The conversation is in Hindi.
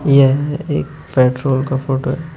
यह एक पेट्रोल का फोटो है।